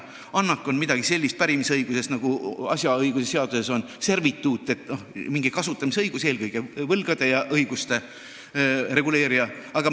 Annak on pärimisõiguses midagi sellist nagu servituut asjaõigusseaduses ehk mingi kasutamisõigus, eelkõige võlgade ja õiguste reguleerija.